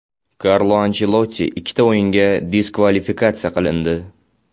Karlo Anchelotti ikkita o‘yinga diskvalifikatsiya qilindi.